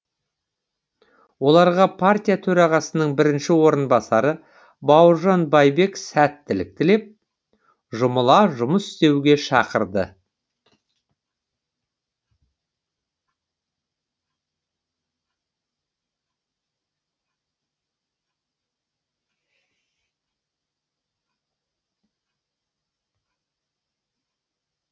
оларға партия төрағасының бірінші орынбасары бауыржан байбек сәттілік тілеп жұмыла жұмыс істеуге шақырды